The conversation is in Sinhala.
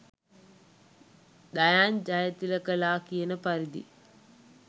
දයාන් ජයතිලකලා කියන පරිදි